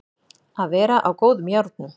Að vera á góðum járnum